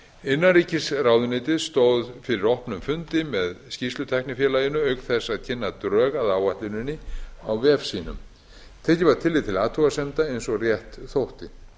innanríkisráðuneytið stóð fyrir opnum fundi með skýrslutæknifélaginu auk þess að kynna drög að áætluninni á vef sínum tekið var tillit til athugasemda eins og rétt þótti